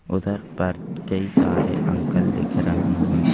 उधर पर कई सारे अंकल लिख रहे हैं।